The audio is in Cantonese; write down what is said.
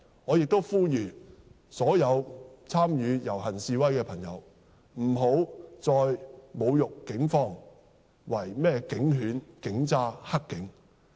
我亦呼籲所有參與遊行示威的朋友，不要再侮辱警方為甚麼警犬、警渣、黑警。